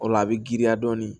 O la a bɛ giriya dɔɔnin